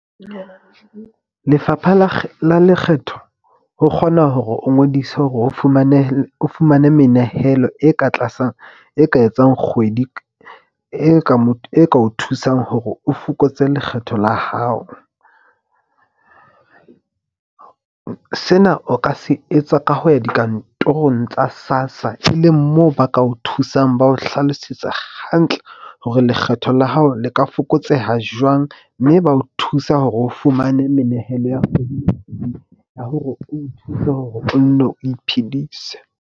Lefapha la la Lekgetho ho kgona hore o ngodise hore o fumane menehelo e ka tlasa e ka etsang kgwedi. E ka o thusang hore o fokotse lekgetho la hao. Sena o ka se etsa ka ho ya dikantorong tsa SASSA, e leng moo ba ka o thusang. Ba o hlalosetsa hantle hore lekgetho la hao le ka fokotseha jwang, mme ba o thusa hore o fumane menehelo ya hore o thuse hore o nne o iphedise.